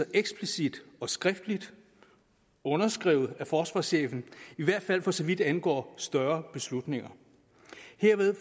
eksplicit og skriftligt underskrevet af forsvarschefen i hvert fald for så vidt angår større beslutninger herved